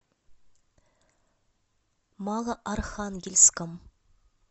малоархангельском